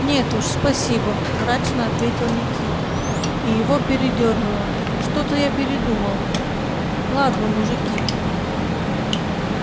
нет уж спасибо мрачно ответил никита и его передёрнуло что-то я передумал ладно мужики